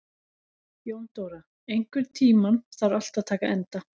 Jóndóra, einhvern tímann þarf allt að taka enda.